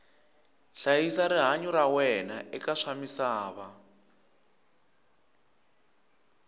hlayisa rihanyu ra wena eka swa misava